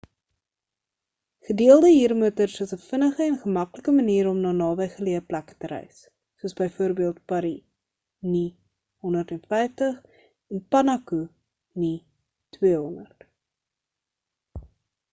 gedeelde huurmotors is ‘n vinnige en gemaklike manier om na nabygeleë plekke te reis soos byvoorbeeld paru nu 150 en punakha nu 200